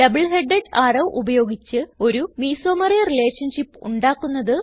double headed arrow ഉപയോഗിച്ച് ഒരു mesomery relationship ഉണ്ടാക്കുന്നത്